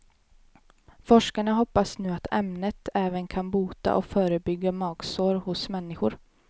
Forskarna hoppas nu att ämnet även kan bota och förebygga magsår hos människor.